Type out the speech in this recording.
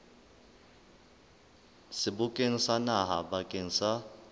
sebokeng sa naha bakeng sa